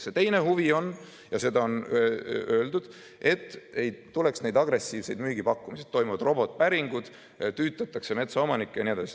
See teine huvi on, ja seda on öeldud, et ei tuleks neid agressiivseid müügipakkumisi – toimuvad robotpäringud, tüüdatakse metsaomanikke jne.